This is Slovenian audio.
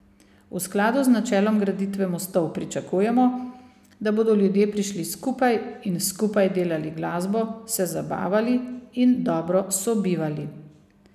V skladu z načelom graditve mostov pričakujemo, da bodo ljudje prišli skupaj in skupaj delali glasbo, se zabavali in dobro sobivali.